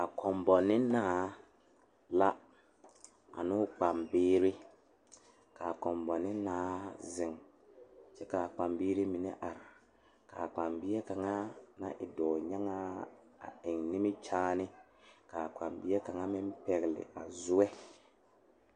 Kobane naa noba naŋ waa yaga Nenpeɛle ane nensɔglaa ba su la gyase kparre ka a taa nanbare bamine su la kpare peɛle ka bamine su kpare ziiri ka paa ba ziɛ ka o e oroge.